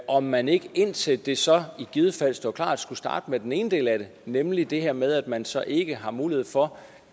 om man ikke indtil det så i givet fald står klart skulle starte med den ene del af det nemlig det her med at man så ikke har mulighed for